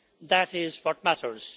that is what matters.